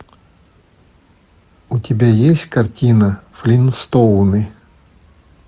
у тебя есть картина флинстоуны